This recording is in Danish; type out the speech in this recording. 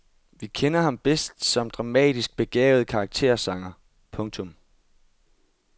Vi kender ham bedst som dramatisk begavet karaktersanger. punktum